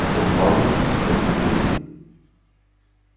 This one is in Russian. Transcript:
потом пауэлл осторожно предложил